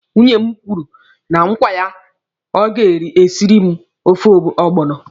Nwunye m kwere mụ nkwa na o ga-esiri m ofe ọgbọnọ.